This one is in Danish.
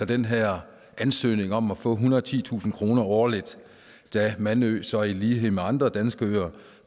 den her ansøgning om at få ethundrede og titusind kroner årligt da mandø så i lighed med andre danske øer